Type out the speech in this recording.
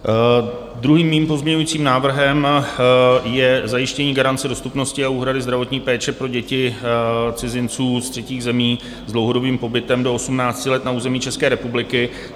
Druhým mým pozměňujícím návrhem je zajištění garance dostupnosti a úhrady zdravotní péče pro děti cizinců z třetích území s dlouhodobým pobytem do 18 let na území České republiky.